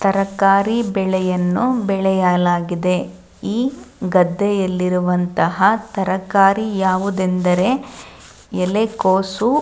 ತರಕಾರಿ ಬೆಳೆಯನ್ನು ಬೆಳೆಯಲಾಗಿದೆ ಈ ತರಕಾರಿ ಯಾವುದೆಂದರೆ ಎಲೆಕೋಸು.